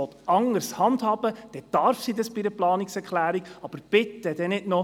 Wir haben eine weitere Gruppe auf der Zuschauertribüne.